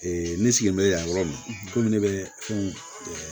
ne sigilen bɛ yan yɔrɔ min na komi ne bɛ fɛn